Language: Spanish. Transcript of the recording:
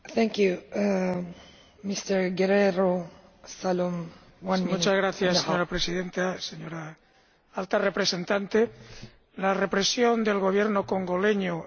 Señora Presidenta, señora Alta Representante, la represión del Gobierno congoleño, el mes pasado, causó la muerte de al menos cuarenta y dos de sus ciudadanos.